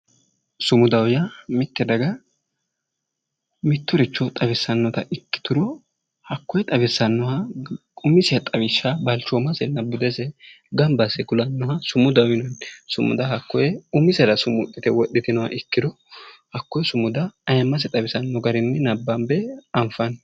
Sumudaho yaa mitte daga mitturicho xawisannota ikkituro hakkoye xawissannoha umise xawishsha balchoomasenna budese gamba asse kulannoha sumudaho yinanni sumuda hakkoye umisera sumuxxite wodhitinoha ikkiro hakkoye sumuda ayiimmase xawisanno garinni nabbanbe anfanni